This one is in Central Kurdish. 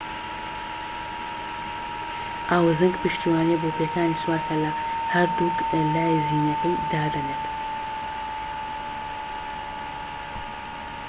ئاوزنگ پشتیوانیە بۆ پێکانی سوار کە لە هەردووک لای زینەکەی دادەنێت